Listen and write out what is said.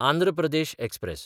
Andhra Pradesh express